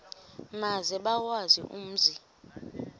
maze bawazi umzi